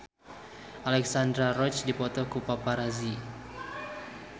Alexandra Roach dipoto ku paparazi